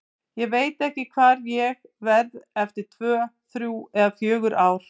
Ég veit ekki hvar ég verð eftir tvö, þrjú eða fjögur ár.